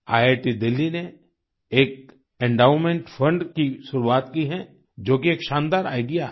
IIT Delhi ने एक endowment fund की शुरुआत की है जो कि एक शानदार आईडीईए है